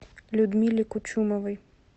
людмиле кучумовой